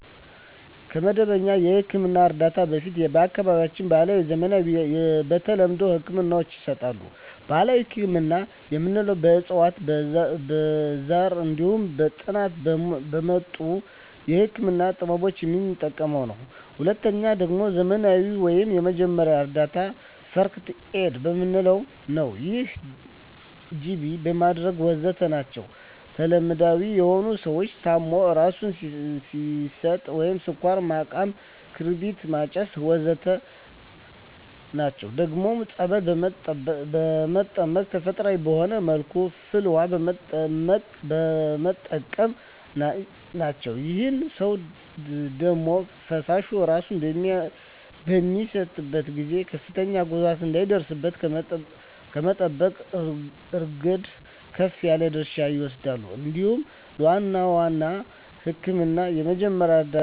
ከመደበኛ የሕክምና እርዳታ በፊት በአካባቢያችን ባህለዊ፣ ዘመናዊና ተለምዷዊ ህክምናወች ይሰጣሉ። ባህላዊ ህክምና የምንለዉ በእፅዋት በዛር እንዲሁም ከጥንት በመጡ የህክምና ጥበቦች የምንጠቀመዉ ነዉ። ሁለተኛዉ ደግሞ ዘመናዊ ወይም የመጀመሪያ እርዳታ(ፈርክት ኤድ) የምንለዉ ነዉ ይህም ጅቢ ማድረግ ወዘተ ናቸዉ። ተለምዳዊ የሆኑት ሰዉ ታሞ እራሱን ሲስት ስኳር ማቃም ክርቢት ማጨስ ወዘተ ናቸዉ። ደግሞም ፀበል በመጠመቅ ተፈጥሮአዊ በሆነ መልኩ ፍል ዉሃ በመጠቀም ናቸዉ። ይህም ሰዉ ደም ፈሶት እራሱን በሚስትበት ጊዜ ከፍተኛ ጉዳት እንዳይደርስበት ከመጠበቅ እረገድ ከፍ ያለ ድርሻ ይወስዳል እንዲሁም ለዋናዉ ህክምና የመጀመሪያ እርዳታ ከፍተኛ ጥቅም አለዉ።